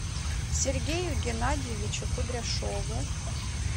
сергею геннадьевичу кудряшову